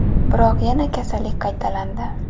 Biroq yana kasallik qaytalandi.